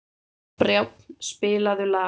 Brjánn, spilaðu lag.